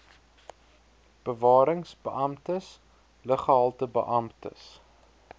bewarings beamptes luggehaltebeamptes